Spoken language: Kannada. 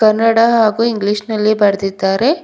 ಕನ್ನಡ ಹಾಗು ಇಂಗ್ಲೀಷ್ ನಲ್ಲಿ ಬರೆದಿದ್ದಾರೆ.